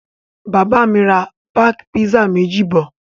Bàbá mi ra páákì pizza méjì bọ̀.